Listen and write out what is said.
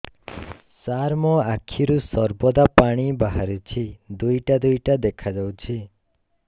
ସାର ମୋ ଆଖିରୁ ସର୍ବଦା ପାଣି ବାହାରୁଛି ଦୁଇଟା ଦୁଇଟା ଦେଖାଯାଉଛି